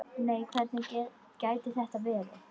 Nei hvernig gæti það verið?